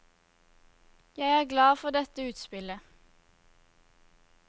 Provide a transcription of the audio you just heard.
Jeg er glad for dette utspillet.